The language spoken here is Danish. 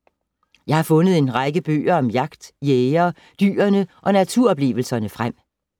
Jeg har fundet en række bøger om jagt, jægerne, dyrene og naturoplevelserne frem.